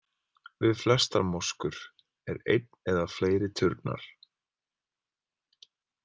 Við flestar moskur er einn eða fleiri turnar.